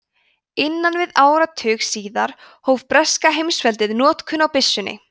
innan við áratug síðar hóf breska heimsveldið notkun á byssunni